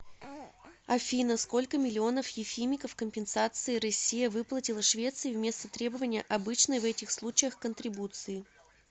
афина сколько миллионов ефимиков компенсации россия выплатила швеции вместо требования обычной в этих случаях контрибуции